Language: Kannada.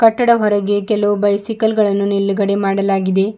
ಕಟ್ಟಡ ಹೊರಗಡೆ ಕೆಲವು ಬೈಸಿಕಲ್ ಗಳನ್ನು ನಿಲುಗಡೆ ಮಾಡಲಾಗಿದೆ.